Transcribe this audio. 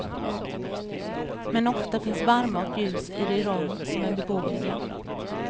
Men ofta finns värme och ljus i de rum som är beboeliga.